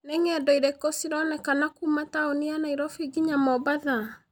nĩ ng'endo irĩkũ cironekana kuuma taũni ya nairobi nginya mombatha